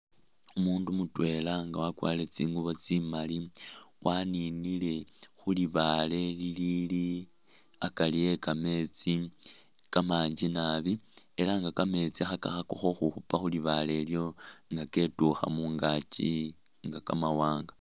Umundu mutwela nga wakwarile tsingubo tsimali waninile khulibale lilili akari ekameetsi kamanji naabi elanga kameetsi khe ka khakakho khukhupa khulibale lyo nga ketukha mungaki inga kamawanga.